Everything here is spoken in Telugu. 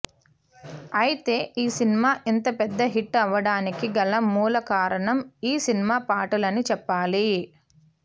అయితే ఈ సినిమా ఇంత పెద్ద హిట్ అవ్వడానికి గల మూల కారణం ఈ సినిమా పాటలు అని చెప్పాలి